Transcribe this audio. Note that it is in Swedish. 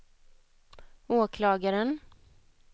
åklagaren